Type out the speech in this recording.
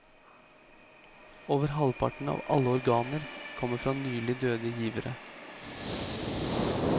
Over halvparten av alle organer kommer fra nylig døde givere.